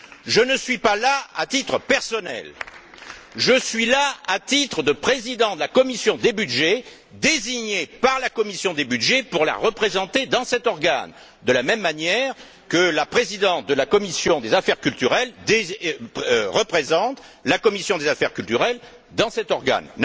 Je ne suis pas là à titre personnel, je suis là à titre de président de la commission des budgets, désigné par la commission des budgets pour la représenter dans cet organe, de la même manière que la présidente des affaires culturelles représente la commission des affaires culturelles dans cet organe.